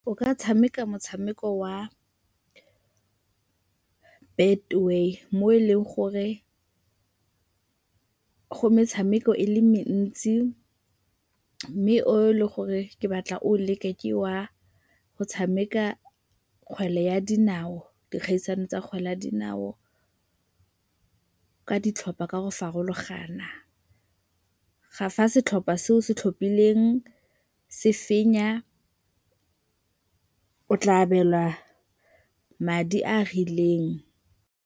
O ka tshameka motshameko wa Betway mo e leng gore go metshameko e le mentsi mme o e leng gore ke batla o o leke ke wa go tshameka kgwele ya dinao, dikgaisano tsa kgwele ya dinao ka ditlhopha ka go farologana. Fa setlhopha se o se tlhophileng se fenya, o tla abelwa madi a a rileng.